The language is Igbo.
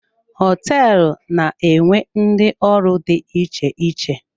Hoteelu na-enwe ndị ọrụ dị iche iche.